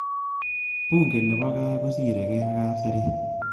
Bungei nebo kaa kosirekei ak kapseret